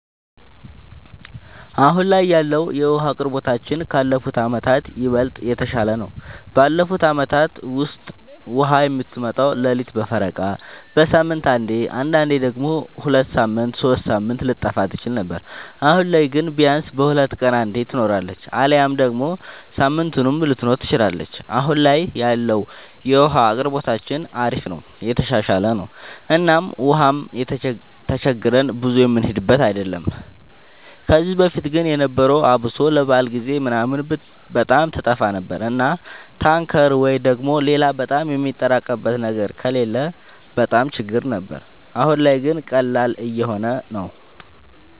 አሁን ላይ ያለወለ የዉሀ አቅርቦታችን ካለፉት አመታት ይበልጥ የተሻለ ነው። ባለፉት አመታት ውስጥ ውሃ የምትመጣው ሌሊት በፈረቃ፣ በሳምንት አንዴ አንዳንዴም ደግሞ ሁለት ሳምንት ሶስት ሳምንት ልትጠፋ ትችል ነበር። አሁን ላይ ግን ቢያንስ በሁለት ቀን አንዴ ትኖራለች አሊያም ደግሞ ሳምንቱንም ልትኖር ትችላለች እና አሁን ላይ ያለው የውሃ አቅርቦታችን አሪፍ ነው የተሻሻለ ነው እና ውሃም ተቸግረን ብዙ የምንሄድበት አይደለም። ከዚህ በፊት ግን የነበረው አብሶ ለበዓል ጊዜ ምናምን በጣም ትጠፋ ነበር እና ታንከር ወይ ደግሞ ሌላ በጣም የሚያጠራቅሙበት ነገር ከሌለ በጣም ችግር ነበር። አሁን ላይ ግን ቀላል እየሆነ ነው።